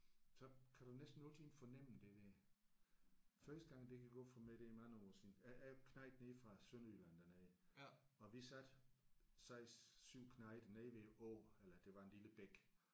Så kan du næsten altid fornemme det der. Første gang det gik op for mig det er mange år siden. Jeg er jo knejt nede fra Sønderjylland dernede og vi sad 6 7 knejter nede ved en å eller det var en lille bæk